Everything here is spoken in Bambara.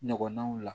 Ɲɔgɔnnaw la